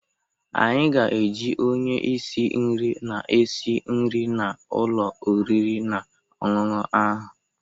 Anyị ga-eji onye isi nri na-esi nri n'ụlọ oriri na ọṅụṅụ ahụ